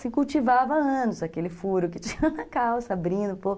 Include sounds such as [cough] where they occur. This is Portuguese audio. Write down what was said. Se cultivava há anos aquele furo que tinha na calça, [laughs] abrindo um pouco.